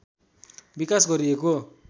विकास गरिएको